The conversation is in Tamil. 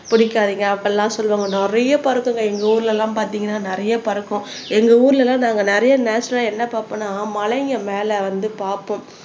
பிடிக்காதீங்க அப்பெல்லாம் சொல்லுவாங்க நிறைய பறக்கும்ங்க எங்க ஊர்ல எல்லாம் பார்த்தீங்கன்னா நிறைய பறக்கும் எங்க ஊர்ல எல்லாம் நாங்க நிறைய நேச்சரல்லா என்ன பார்ப்போம்ன்னா மலைங்க மேல வந்து பாப்போம்